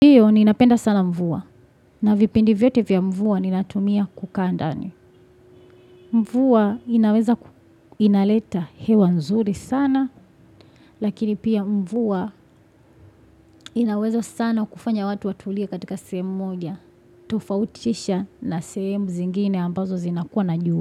Ninapenda sana mvua na vipindi vyote vya mvua ninatumia kukaa ndani mvua inaleta hewa nzuri sana lakini pia mvua inaweza sana kufanya watu watulia katika sehemu moja tofautisha na sehemu zingine ambazo zinakuwa na jua.